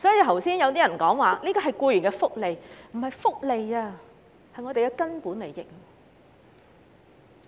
剛才有議員說假期是僱員的福利，其實這不是福利，而是我們的"根本利益"。